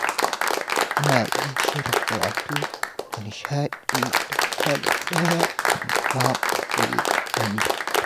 Muna yin shirin karatu da nishaɗi don kada ɗaya ya mamaye wani.